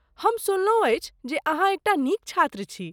हम सुनलहुँ अछि जे अहाँ एकटा नीक छात्र छी।